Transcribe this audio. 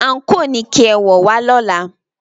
Àǹkóò ni kí ẹ wọ̀ wá lọ́la!